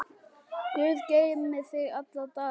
Guð geymi þig alla daga.